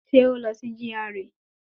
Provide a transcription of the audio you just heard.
Ṣé ó lọ sí GRA